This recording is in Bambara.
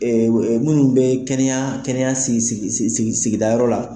Minnu bɛ kɛnɛya kɛnɛya sigi sigi sigi sigida yɔrɔ la.